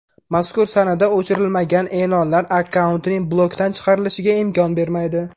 Mazkur sanada o‘chirilmagan e’lonlar akkauntning blokdan chiqarilishiga imkon bermaydi.